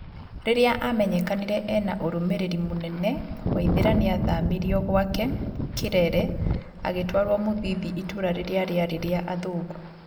Rĩrĩa amenyekanĩre ena ũrũmĩrĩri mũnene Waithera nĩathamirio gwake, kĩrere agĩtwarwo ,Muthithi itũra rĩrĩa rĩarĩ rĩa athũngũ